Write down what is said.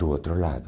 Do outro lado.